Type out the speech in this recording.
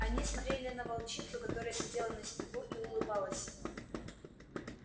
они смотрели на волчицу которая сидела на снегу и улыбалась им